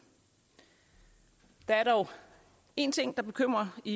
der er dog én ting der bekymrer i